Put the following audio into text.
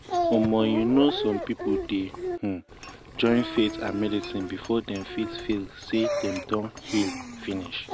you um know some people dey um join faith and medicine before dem fit feel say dem don heal finish.